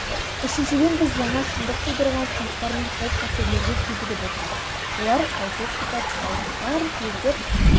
үшіншіден біз жаңа шындық тудырған сынақтар мен қауіп-қатерлерге кезігіп отырмыз олар жалпылық сипат алып барлық елдер